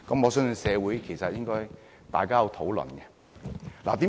我相信社會應該討論。